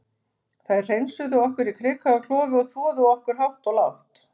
Þær hreinsuðu okkur í krika og klofi og þvoðu okkur hátt og lágt.